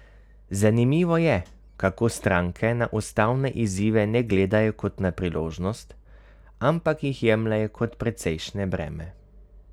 Zanimivo je, kako stranke na ustavne izzive ne gledajo kot na priložnost, ampak jih jemljejo kot precejšnje breme.